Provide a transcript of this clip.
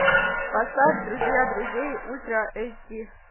поставь друзья друзей ультра эйч ди